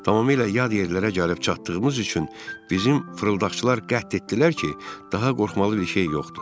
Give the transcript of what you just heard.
Tamamilə yad yerlərə gəlib çatdığımız üçün bizim fırıldaqçılar qət etdilər ki, daha qorxmalı bir şey yoxdur.